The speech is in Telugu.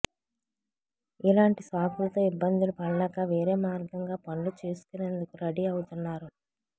ఇలాంటి సాకులతో ఇబ్బందులు పడలేక వేరే మార్గంగా పనులు చేసుకునేందుకు రడీ ఆవుతున్నారు